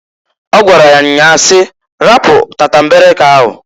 O gwara ya nnya si, "Rapu tatambeleke ahụ!